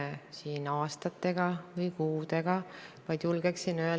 Mida te selles valdkonnas olete ette võtnud ja kas see kuus kuud ei ole liiga pikk aeg selgitamaks, mida tuleks muuta?